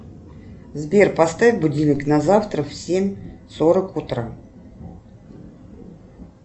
сбер поставь будильник на завтра в семь сорок утра